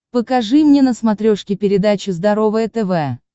покажи мне на смотрешке передачу здоровое тв